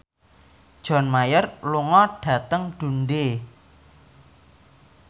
John Mayer lunga dhateng Dundee